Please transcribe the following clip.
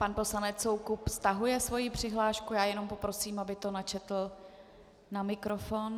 pan poslanec Soukup stahuje svoji přihlášku, já jenom prosím, aby to načetl na mikrofon.